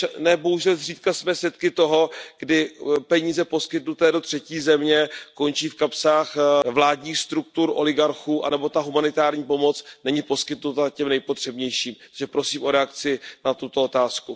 Ne bohužel zřídka jsme svědky toho, kdy peníze poskytnuté do třetí země končí v kapsách vládních struktur oligarchů nebo humanitární pomoc není poskytnuta těm nejpotřebnějším. Takže prosím o reakci na tuto otázku.